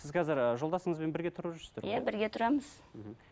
сіз қазір ыыы жолдасыңызбен бірге тұрып жүрсіздер ғой иә бірге тұрамыз мхм